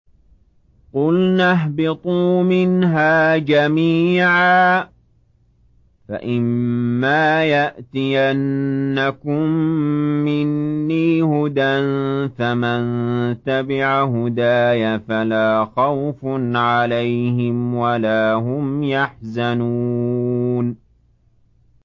قُلْنَا اهْبِطُوا مِنْهَا جَمِيعًا ۖ فَإِمَّا يَأْتِيَنَّكُم مِّنِّي هُدًى فَمَن تَبِعَ هُدَايَ فَلَا خَوْفٌ عَلَيْهِمْ وَلَا هُمْ يَحْزَنُونَ